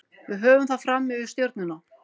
Við höfum það fram yfir Stjörnuna.